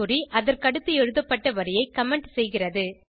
குறி அதற்கடுத்து எழுதப்பட்ட வரியை கமெண்ட் செய்கிறது